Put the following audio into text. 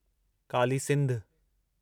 Kali Sindh